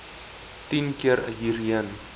tien keer hierheen